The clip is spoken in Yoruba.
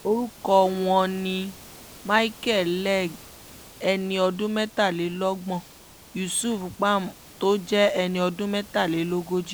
orúkọ wọn ni micheal leng ẹni ọdún mẹ́tàlélọ́gbọ̀n yusuf pam tó jẹ́ ẹni ọdún mẹ́tàlélógójì